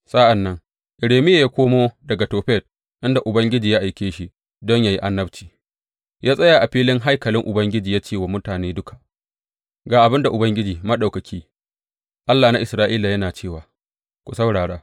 Sa’an nan Irmiya ya komo daga Tofet, inda Ubangiji ya aike shi don yă yi annabci, ya tsaya a filin haikalin Ubangiji ya ce wa mutane duka, Ga abin da Ubangiji Maɗaukaki, Allah na Isra’ila, yana cewa, Ku saurara!